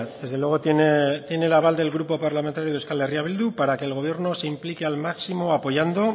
desde luego tiene el aval del grupo parlamentario de euskal herria bildu para que el gobierno se implique al máximo apoyando